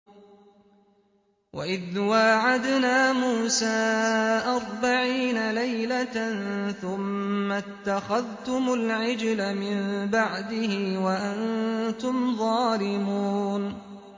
وَإِذْ وَاعَدْنَا مُوسَىٰ أَرْبَعِينَ لَيْلَةً ثُمَّ اتَّخَذْتُمُ الْعِجْلَ مِن بَعْدِهِ وَأَنتُمْ ظَالِمُونَ